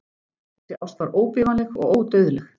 Þessi ást var óbifanleg og ódauðleg.